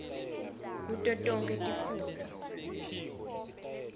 kuto tonkhe tifundza